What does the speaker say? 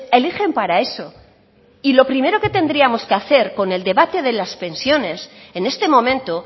eligen para eso y lo primero que tendríamos que hacer con el debate de las pensiones en este momento